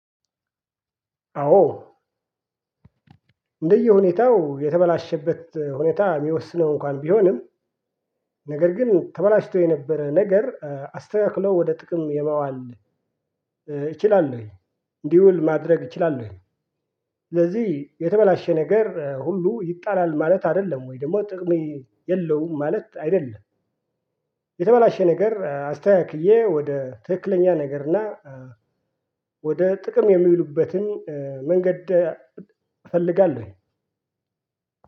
አዎ። እንደየሁኔታው የተበላሸበት ሁኔታ ሚወስነው እንኳን ቢሆንም ነገር ግን ተበላሽቶ የነበረ ነገር አስተካክለው ወደ ጥቅም የማዋል እችላለሁኝ እንዲውል ማድረግ እችላለሁኝ። ስለዚህ የተበላሸ ነገር ሁሉ ይጣላል ማለት አይደለም ወይ ደግሞ ጥቅም የለውም ማለት አይደለም። የተበላሸ ነገር አስተካክዬ ወደ ትክክለኛ ነገርና ወደ ጥቅም የሚዉሉበትን መንገድ እፈልጋለሁኝ።